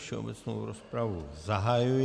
Všeobecnou rozpravu zahajuji.